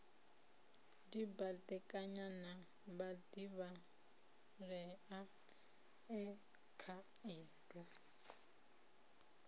dibadekanya na vhadivhalea e khaedu